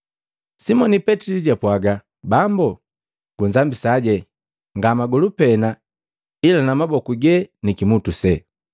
Simoni Petili jwapwaga, “Bambo, gunzambisaje, nga magolu pena, ila na maboku gee ni kimutu see.”